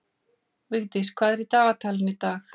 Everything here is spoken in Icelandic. Vigdís, hvað er í dagatalinu í dag?